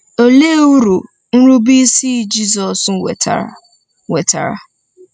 Olee uru nrubeisi Jizọs wetara? wetara?